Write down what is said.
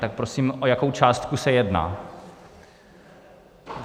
Tak prosím, o jakou částku se jedná?